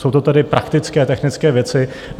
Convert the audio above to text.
Jsou to tedy praktické technické věci.